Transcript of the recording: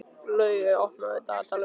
Laugey, opnaðu dagatalið mitt.